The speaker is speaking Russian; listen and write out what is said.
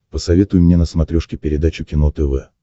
посоветуй мне на смотрешке передачу кино тв